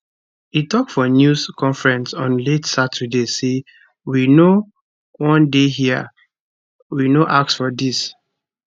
e tok for news conference on late saturday say we no wan dey hia we no ask for dis